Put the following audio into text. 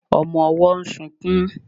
Ọmọ ọwọ́ ń sunkún